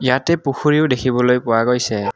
ইয়াতে পুখুৰীও দেখিবলৈ পোৱা গৈছে।